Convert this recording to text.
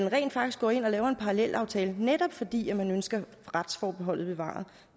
rent faktisk går ind og laver en parallelaftale netop fordi man ønsker retsforbeholdet bevaret